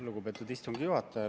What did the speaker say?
Lugupeetud istungi juhataja!